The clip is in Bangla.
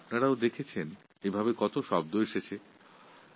আর আপনারা তো জানেন কত ধরনের শব্দ ব্যবহৃত হয়